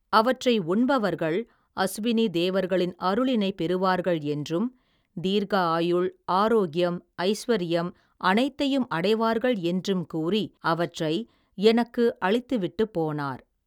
அவற்றை உண்பவர்கள், அசுவினி தேவர்களின் அருளினை பெறுவார்கள் என்றும், தீர்க்க ஆயுள், ஆரோக்கியம், ஐஸ்வரியம், அனைத்தையும் அடைவார்கள் என்றும் கூறி, அவற்றை எனக்கு அளித்துவிட்டு போனார்.